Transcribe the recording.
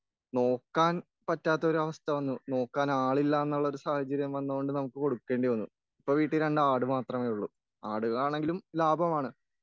നോക്കാൻ പറ്റാത്തൊരു അവസ്ഥ വന്നു, നോക്കാൻ ആളില്ലാന്നൊരു സാഹചര്യം വന്നൊണ്ട് നമുക്ക് കൊടുക്കേണ്ടി വന്നു.ഇപ്പൊ വീട്ടിൽ രണ്ട് ആട് മാത്രമേ ഉള്ളു.ആടുകളാണെങ്കിലും ലാഭമാണ്.